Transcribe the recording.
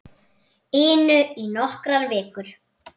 inu í nokkrar vikur.